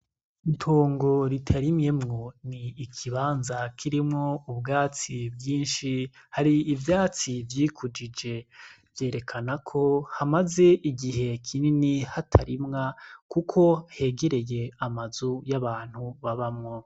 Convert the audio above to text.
Itongo ritarimyemwo n'ikibanza kirimwo ubwatsi bwinshi hari ivyatsi vyikujije ,vyerekana ko hamaze igihe kini hatarimwa kuko hegereye amazu y'abantu babamwo .